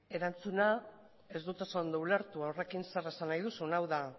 erantzuna ez dut oso ondo ulertu horrekin zer esan nahi duzun ez dut ulertu hau da